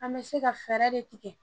An bɛ se ka fɛɛrɛ de tigɛ